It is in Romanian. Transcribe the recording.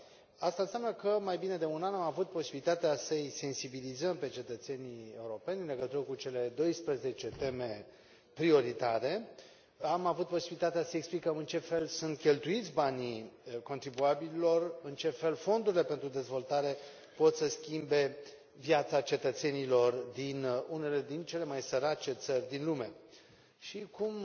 Aceasta înseamnă că mai bine de un an am avut posibilitatea să îi sensibilizăm pe cetățenii europeni în legătură cu cele 12 teme prioritare. Am avut posibilitatea să explicăm în ce fel sunt cheltuiți banii contribuabililor, în ce fel fondurile pentru dezvoltare pot să schimbe viața cetățenilor din unele din cele mai sărace țări din lume. Iar așa cum